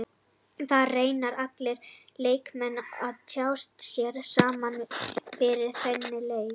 Það reyna allir leikmenn að tjasla sér saman fyrir þennan leik.